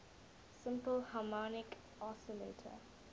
simple harmonic oscillator